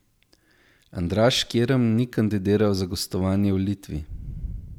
Andraž Kirm ni kandidiral za gostovanje v Litvi.